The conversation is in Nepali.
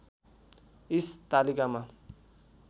इस तालिकामा